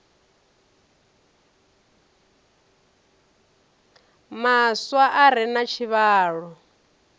maswa a re na tshivhalo